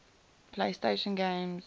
playstation games